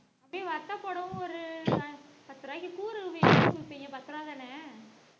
அப்டியே வத்த போடவும் ஒரு பத்து ரூவாய்க்கு கூறு விப்பிங்க பத்து ரூவாய் தான